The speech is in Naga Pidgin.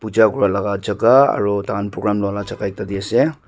ja kura laga jaga aru tah khan program loana jaga ekta teh ase.